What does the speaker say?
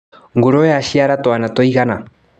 Ngũrũwe yaciara twana tũigana.